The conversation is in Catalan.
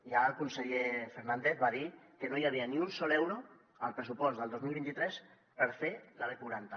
ja el conseller fernández va dir que no hi havia ni un sol euro al pressupost del dos mil vint tres per fer la b quaranta